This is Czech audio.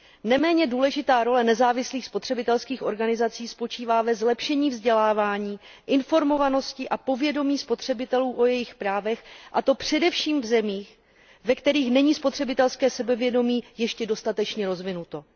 Neméně důležitá role nezávislých spotřebitelských organizací spočívá ve zlepšení vzdělávání, informovanosti a povědomí spotřebitelů o jejich právech, a to především v zemích, ve kterých není spotřebitelské sebevědomí ještě dostatečně rozvinuto.